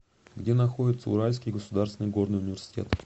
где находится уральский государственный горный университет